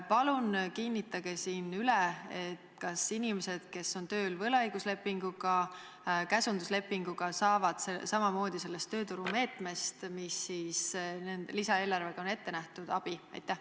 Palun kinnitage siin üle, kas inimesed, kes on tööl võlaõiguslepingu, käsunduslepingu alusel, saavad samamoodi abi sellest tööturumeetmest, mis lisaeelarvega on ette nähtud!